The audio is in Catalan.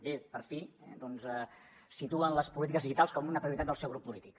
bé per fi situen les polítiques digitals com una prioritat del seu grup polític